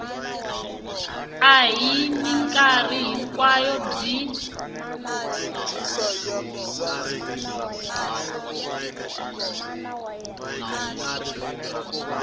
a hi mikarhi hinkwayo byi